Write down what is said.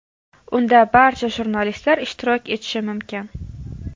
Unda barcha jurnalistlar ishtirok etishi mumkin.